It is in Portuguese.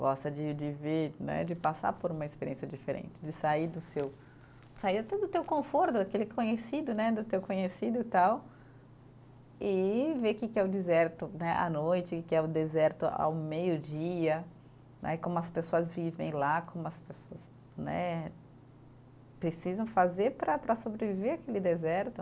Gosta de de ver né, de passar por uma experiência diferente, de sair do seu, sair até do teu conforto, daquele conhecido né, do teu conhecido tal, e ver o que que é o deserto à noite, o que é o deserto ao meio-dia né, como as pessoas vivem lá, como as pessoas né precisam fazer para para sobreviver àquele deserto.